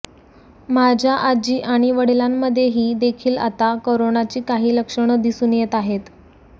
माझ्या आजी आणि वडिलांमध्येही देखील आता करोनाची काही लक्षणं दिसून येत आहेत